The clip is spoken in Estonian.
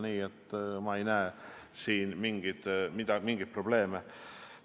Nii et ma ei näe siin mingeid probleeme.